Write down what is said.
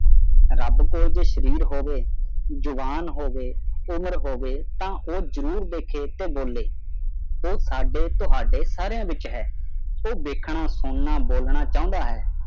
ਰੱਬ ਕੋਈ ਜੇ ਸਰੀਰ ਹੋਵੇ ਜ਼ਬਾਨ ਹੋਵੇ ਉਮਰ ਹੋਵੇ ਤੇ ਉਹ ਜ਼ਰੂਰ ਦੇਖੋ ਤੇ ਉਹ ਜਰੂਰ ਬੋਲੇ ਉਹ ਸਾਡੇ ਤੁਹਾਡੇ ਸਾਰਿਆਂ ਦੇ ਵਿੱਚ ਹੈ ਉਹ ਦੇਖਣਾ ਸੁਣਨਾ ਬੋਲਣਾ ਚਾਹੁੰਦਾ ਹੈ